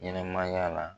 Ɲɛnɛmaya la